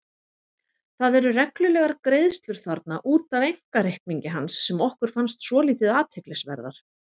Það eru reglulegar greiðslur þarna út af einkareikningi hans sem okkur fannst svolítið athyglisverðar.